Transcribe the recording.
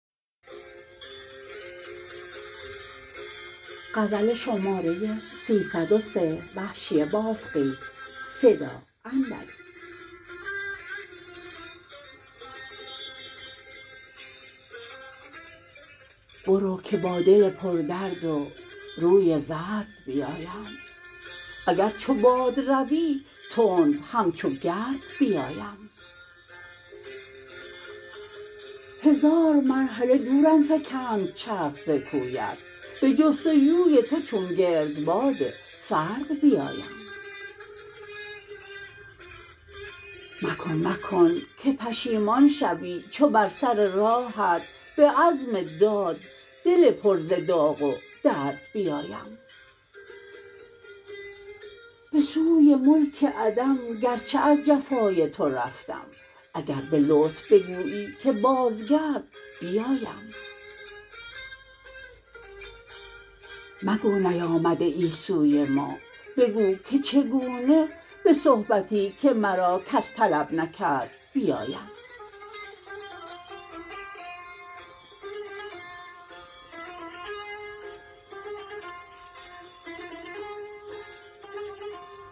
برو که با دل پر درد و روی زرد بیایم اگر چو باد روی تند همچو گرد بیایم هزار مرحله دورم فکند چرخ ز کویت به جستجوی تو چون گرد باد فرد بیایم مکن مکن که پشیمان شوی چو بر سر راهت به عزم داد دل پر ز داغ و درد بیایم به سوی ملک عدم گرچه از جفای تو رفتم اگر به لطف بگویی که باز گرد بیایم مگو نیامده ای سوی ما بگو که چگونه به صحبتی که مرا کس طلب نکرد بیایم